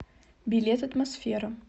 билет атмосфера